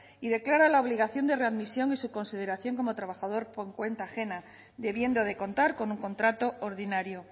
y declara la obligación de readmisión y su consideración como trabajador por cuenta ajena debiendo de contar con un contrato ordinario